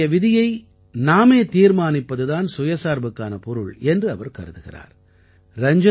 நம்முடைய விதியை நாமே தீர்மானிப்பது தான் தற்சார்புக்கான பொருள் என்று அவர் கருதுகிறார்